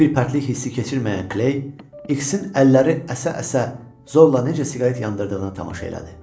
Heç bir pərtlik hissi keçirməyən Kley, X-in əlləri əsə-əsə zorla necə siqaret yandırdığına tamaşa elədi.